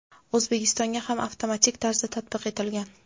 O‘zbekistonga ham avtomatik tarzda tatbiq etilgan.